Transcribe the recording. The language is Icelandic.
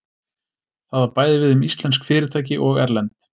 Það á bæði við um íslensk fyrirtæki og erlend.